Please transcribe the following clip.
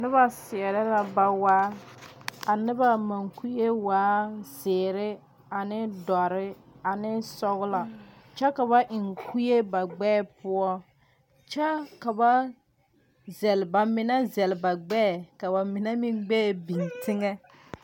Noba seɛre la bawaa. Ka noba mukue waa ziire ane doure ane sɔglɔ. Kyɛ kaba eŋ kue ba gbɛɛ poʊ. Kyɛ ka ba zɛle, ba mene zɛle ba gbɛɛ ka ba mene meŋ gbɛɛ biŋ teŋe.